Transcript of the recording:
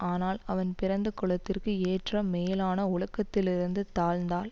ஆனால் அவன் பிறந்த குலத்திற்கு ஏற்ற மேலான ஒழுக்கத்திலிருந்து தாழ்ந்தால்